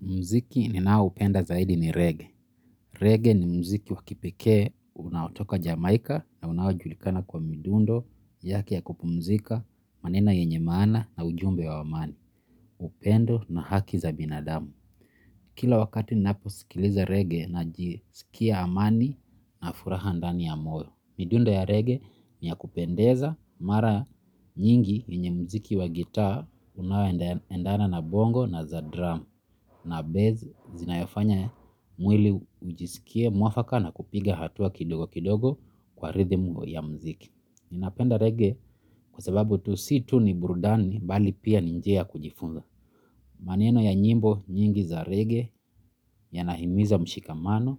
Mziki ninaoupenda zaidi ni reggae. Reggae ni mziki wakipekee unaotoka jamaika na unaojulikana kwa midundo, yake ya kupumzika, maneno yenye maana na ujumbe wa amani, upendo na haki za binadamu. Kila wakati ninapo sikiliza reggae na jisikia amani na furaha ndani ya moyo. Midundo ya reggae niya kupendeza mara nyingi yenye mziki wa gitaa unaoendana na bongo na za drum na bass zinayofanya mwili ujisikie mwafaka na kupiga hatua kidogo kidogo kwa rhythm ya mziki. Ninapenda reggae kwa sababu tu si tu ni burudani bali pia ninjia kujifunza. Maneno ya nyimbo nyingi za reggae ya nahimiza mshikamano,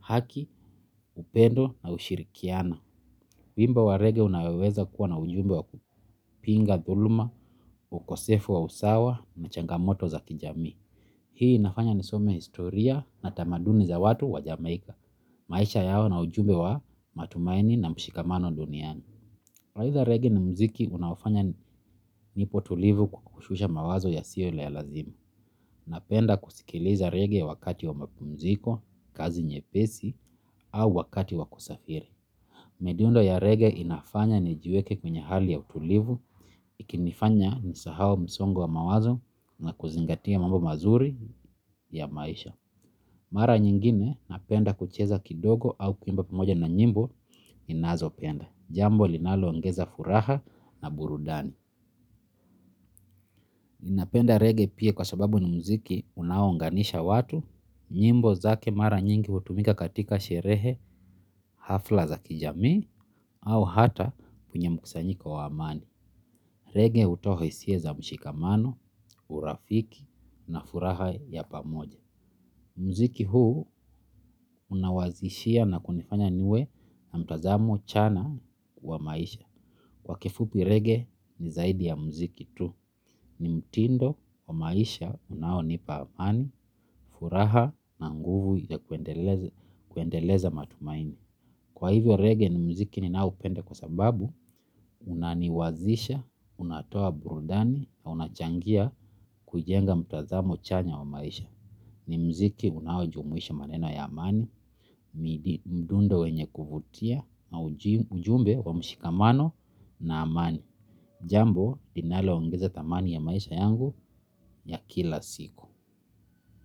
haki, upendo na ushirikiana. Wimbo wa rege unayoweza kuwa na ujumbe wa kupinga, thuluma, ukosefu wa usawa na changamoto za kijami. Hii nafanya ni some historia na tamaduni za watu wa jamaika. Maisha yao na ujumbe wa matumaini na mshikamano duniani. Aidha reggae ni mziki unafanya nipo tulivu kwa kushusha mawazo ya siyo ya lazima. Napenda kusikiliza reggae wakati wa mapumziko, kazi nye pesi, au wakati wakusafiri. Midundo ya reggae inafanya ni jiweke kwenye hali ya utulivu, ikinifanya nisahau msongo wa mawazo na kuzingatia mambo mazuri ya maisha. Mara nyingine napenda kucheza kidogo au kuimba pamoja na nyimbo ninazopenda jambo linaloongeza furaha na burudani napenda reggae pia kwa sababu ni mziki unaounganisha watu, nyimbo zake mara nyingi utumika katika sherehe hafla za kijami au hata penye mkusanyika wa amani. Reggae utoa hisia za mshikamano, urafiki na furaha ya pamoja. Mziki huu unawazishia na kunifanya niwe na mtazamo chana wa maisha. Kwa kifupi reggae ni zaidi ya mziki tu. Ni mtindo wa maisha unao nipa amani, furaha na nguvu ya kuendeleza matumaini. Kwa hivyo reggae ni mziki ni naoupenda kwa sababu unaniwazisha, unatoa burudani na unachangia kujenga mtazamo chanya wa maisha. Ni mziki unaojumuisha maneno ya amani, mdundo wenye kuvutia, ujumbe wa mshikamano na amani. Jambo, linaloongeza thamani ya maisha yangu ya kila siku.